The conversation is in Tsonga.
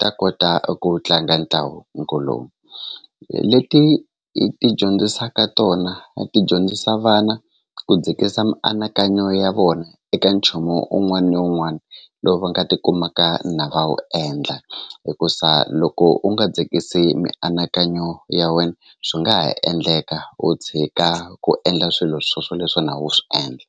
ta kota ku tlanga ntlangu lowu leti i ti dyondzisaka tona a ti dyondzisa vana ku dzikisa mianakanyo ya vona eka nchumu un'wani ni un'wani lowu va nga tikumaka na va wu endla hikusa loko u nga dzikisi mianakanyo ya wena swi nga ha endleka u tshika ku endla swilo swo swoleswo na wu swi endla.